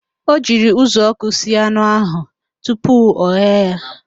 O jiri uzuọkụ sie anụ ahụ tupu ọghee ya